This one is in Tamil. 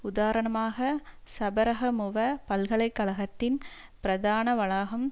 உதாரணமாக சபரகமுவ பல்கலை கழகத்தின் பிரதான வளாகம்